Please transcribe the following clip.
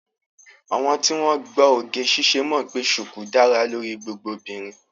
Àwọn tí wọ́n gbọ́ oge ṣíṣe mọ̀ pé ṣùkú dára lórí gbogbo obìnrin